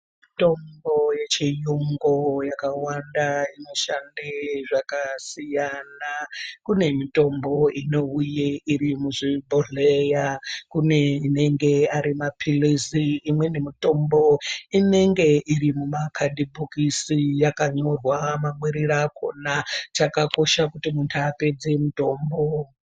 Mutombo yechiyungu yakawanda inoshande zvakasiyana. Kune mitombo inouya iri muzvibhohleya. Kune inenge ari maphilizi, imweni mutombo inenge iri mumakadhibhokisi yakanyorwa mamwirire akona. Chakakosha kuti muntu apedze mutombo.